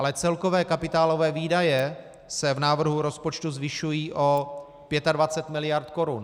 Ale celkové kapitálové výdaje se v návrhu rozpočtu zvyšují o 25 miliard korun.